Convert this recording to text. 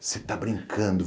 Você está brincando.